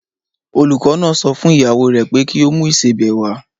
Olùkọ́ náà sọ fún ìyàwó rè pé kí o mú ìsebẹ̀ wá.